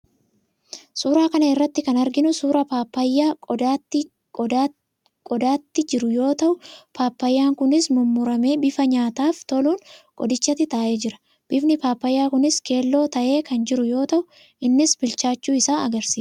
Suuraa kana irratti kan arginu suuraa paappayyaa qodaatti jiru yoo ta'u, paappayyaan kunis mummuramee bifa nyaataaf toluun qodichatti taa'ee jira. Bifni paappayyaa kunis keelloo ta'ee kan jiru yoo ta'u, innis bilchaachuu isaa argisiisa.